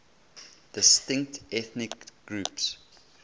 distinct ethnic groups